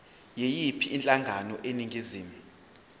yiyiphi inhlangano eningizimu